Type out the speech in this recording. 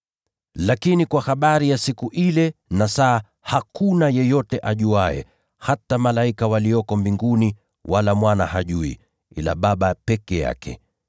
“Kwa habari ya siku ile na saa hakuna yeyote ajuaye, hata malaika walio mbinguni wala Mwana, ila Baba peke yake.